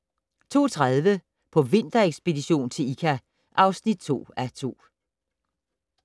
02:30: På vinterekspedition til Ikka (2:2)